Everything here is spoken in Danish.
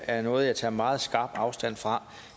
er noget jeg tager meget skarpt afstand fra